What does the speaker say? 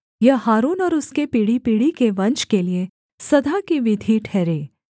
यह हारून और उसके पीढ़ीपीढ़ी के वंश के लिये सदा की विधि ठहरे